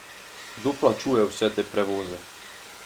Kdo plačuje vse te prevoze?